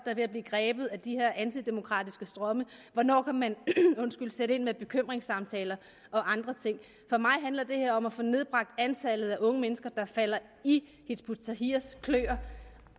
er ved at blive grebet af de her antidemokratiske strømme og hvornår man kan sætte ind med bekymringssamtaler og andre ting for mig handler det her om at få nedbragt antallet af unge mennesker der falder i hizb ut tahrirs kløer